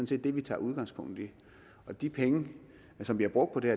set det vi tager udgangspunkt i de penge som vi har brugt på det